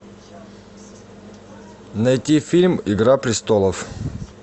найти фильм игра престолов